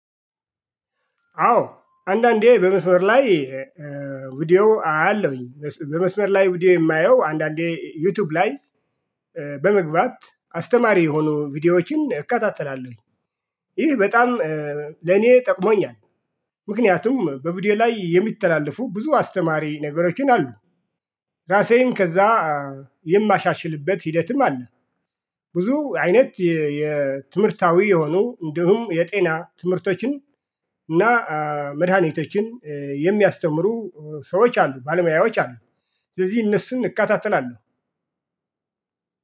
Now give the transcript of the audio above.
አዎ አንዳንዴ በመስመር ላይ ቪዲዮ አያለሁኝ በመስመር ላይ ቪዲዮ የማየው አንዳንዴ ዩቲዩብ ላይ እ በመግባት አስተማሪ የሆኑ ቪዲዮዎችን እከታተላለሁ። ይሄ በጣም ለኔ ጠቅሞኛል። ምክንያቱም በቪዲዮ ላይ የሚተላለፉ ብዙ አስተማሪ ነገሮችን አሉ። ራሴን ከዛ የማሻሽልበት ሂደትም አለ። ብዙ አይነት የ የ ትምህርታዊ የሆኑ እንዲሁም የጤና ትምህርቶችን እና እ መድሃኒቶችን የሚያስተምሩ ሰዎች አሉ ባለሙያዎች አሉ። ስለዚህ እነሱን እከታተላለሁ